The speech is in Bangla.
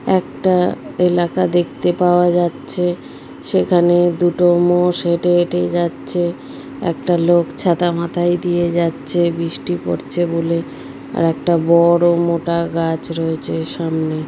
একটা এলাকা দেখতে পাওয়া যাচ্ছে। সেখানে দুটো মোস হেটে হেটে যাচ্ছে। একটা লোক ছাতা মাথায় দিয়ে যাচ্ছে বৃষ্টি পড়ছে বলে। আর একটা ব-ওড় মোটা গাছ রয়েছে সামনে।